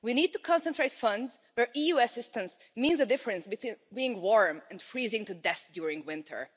We need to concentrate funds where EU assistance means a difference between being warm and freezing to death during winter.